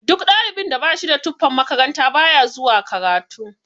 Duk ɗalibin da bashida tufan makaranta baya zuwa karatu.